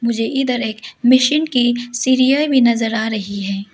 मुझे इधर एक मशीन की सीढ़ियां भी नजर आ रही है।